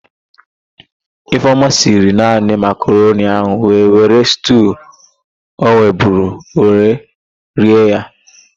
Ifeọma siri naani makaroni ahụ wee were stuu ọ nweburu wee rie ya.